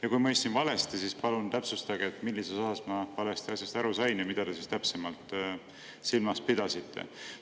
Ja kui mõistsin valesti, siis palun täpsustage, millises osas ma asjast valesti aru sain ja mida te siis täpsemalt silmas pidasite.